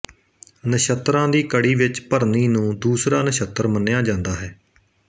ਨਛੱਤਰਾਂ ਦੀ ਕੜੀ ਵਿੱਚ ਭਰਨੀ ਨੂੰ ਦੂਸਰਾ ਨਛੱਤਰ ਮੰਨਿਆ ਜਾਂਦਾ ਹੈ